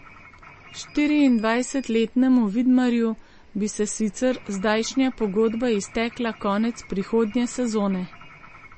Štiriindvajsetletnemu Vidmarju bi se sicer zdajšnja pogodba iztekla konec prihodnje sezone.